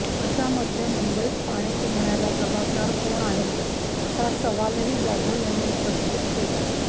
अशामध्ये मुंबईत पाणी तुंबण्याला जबाबदार कोण आहे असा सवालही जाधव यांनी उपस्थित केला